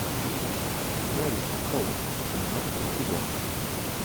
гравити фолз двенадцатый сезон